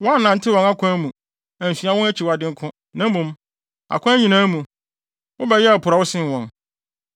Woannantew wɔn akwan mu, ansua wɔn akyiwadeyɛ nko, na mmom, akwan nyinaa mu, wobɛyɛɛ porɔwee sen wɔn.